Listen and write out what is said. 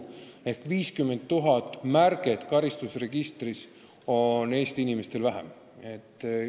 Seega 50 000 märget jääb karistusregistrisse tegemata.